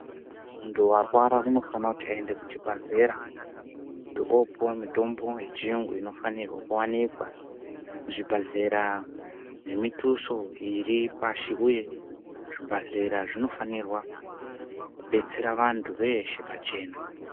Muntu warwara unofanirwa kuti ende kuchibhehlera kuti opuwe mutombo yechiyungu imwe inofanirwa kuwanikwa zvibhehlera nemutuso iri pashi uye zvibhehlera zvinofanirwa kubatsira vantu veshe pachena.